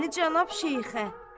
Bəli, cənab Şeyxə.